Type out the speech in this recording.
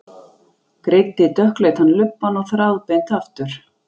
Greiddi dökkleitan lubbann þráðbeint aftur.